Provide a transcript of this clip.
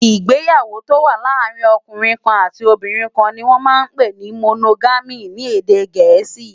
Igbéyàwó tó wà làárin òkúnrin kán àtí óbìrín kán ni wòn mà n pé ni Mónógàmí ni édé gẹẹsi